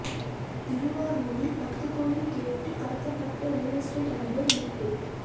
திருவாரூரில் பத்து கோடி கேட்டு கடத்தப்பட்ட ரியல் எஸ்டேட் அதிபர் மீட்பு